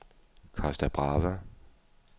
Costa Brava